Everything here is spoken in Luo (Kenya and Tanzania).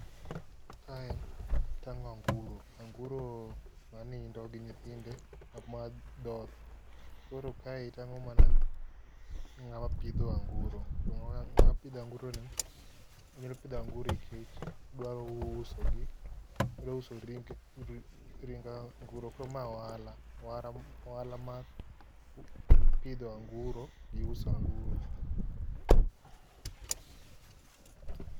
Kae tang'o anguro. Anguro manindo gi nyithinde ma dhoth koro kae tang'o mana ng'ama pidho anguro. To ng'ama pidho anguroni, odwa pidho anguro nikech ousogi ouso ring gi anguro koro mae ohala, ohala mar pidho anguro gi uso anguro.